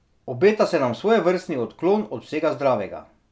Obeta se nam svojevrstni odklon od vsega zdravega.